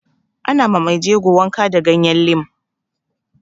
Ana ma mai jego wanka da ganyen lim